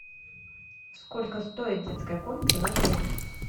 сколько стоит детская комната в отеле